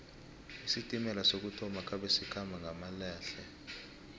isitimela sokuthoma khabe sikhamba ngamalehle